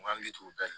N hakili t'o bɛɛ